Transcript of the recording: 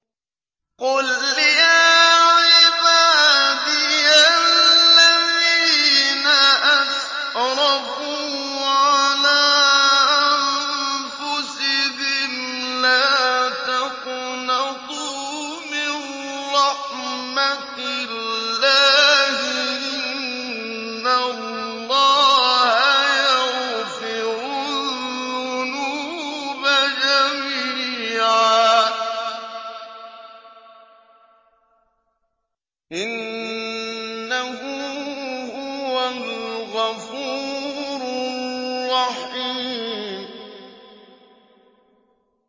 ۞ قُلْ يَا عِبَادِيَ الَّذِينَ أَسْرَفُوا عَلَىٰ أَنفُسِهِمْ لَا تَقْنَطُوا مِن رَّحْمَةِ اللَّهِ ۚ إِنَّ اللَّهَ يَغْفِرُ الذُّنُوبَ جَمِيعًا ۚ إِنَّهُ هُوَ الْغَفُورُ الرَّحِيمُ